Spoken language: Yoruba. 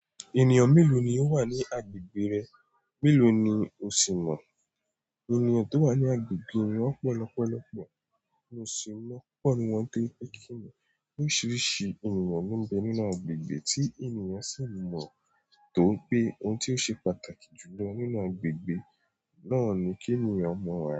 Ènìyàn mélòó ni ó wà ní agbègbè rẹ? Mélòó ni o sì mọ? Ènìyàn tó wà ní agbègbè mi wọ́n pọ̀ lọ́pọ̀lọ́pọ̀, mo sì mọ̀ púpọ̀ nínú wọn toripe kìnì. Oríṣiríṣi ènìyàn ló ń bẹ nínú agbègbè tí ènìyàn sì ń mọ̀ tó pé ohun tí ó ṣe pàtàkì jù lọ nínú agbègbè náà ni kí ènìyàn mọ̀ ara rẹ̀